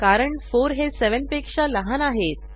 कारण 4 हे 7 पेक्षा लहान आहेत